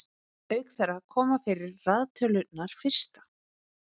auk þeirra koma fyrir raðtölurnar fyrsta